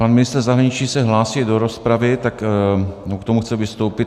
Pan ministr zahraničí se hlásí do rozpravy, on k tomu chce vystoupit.